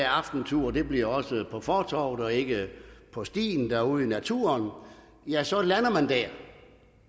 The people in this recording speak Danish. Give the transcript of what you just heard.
aftenturen bliver også på fortovet og ikke på stien derude i naturen og ja så lander